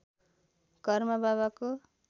घरमा बाबाको